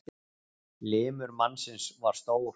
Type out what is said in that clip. Limur mannsins var stór.